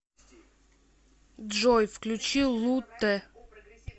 джой включи лутэ